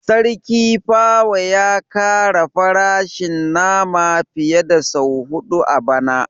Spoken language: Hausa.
Sarki pawa ya kara farashin nama fiye da sau hudu a bana